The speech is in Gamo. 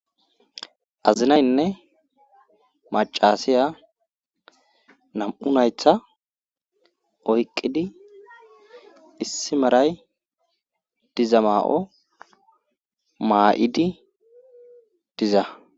azinaynne macasiya nam7u naytha oyqqidi issi maray diza maa7o maa7idi diza